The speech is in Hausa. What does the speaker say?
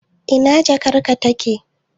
Ina jakarka take?